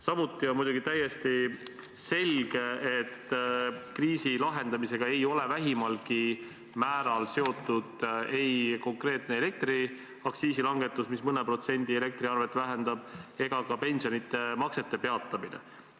Samuti on täiesti selge, et kriisi lahendamisega ei ole vähimalgi määral seotud ei konkreetne elektriaktsiisi langetus, mis elektriarvet mõne protsendi võrra vähendab, ega pensionimaksete peatamine.